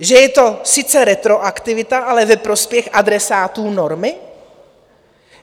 Že je to sice retroaktivita, ale ve prospěch adresátů normy?